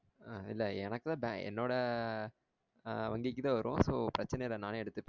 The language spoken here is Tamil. ஆஹ் இல்ல எனக்குதா என்னோட ஆஹ் வங்கிக்குத்தான் வரும் so பிரச்சனை இல்ல நானே எடுத்துப்பேன்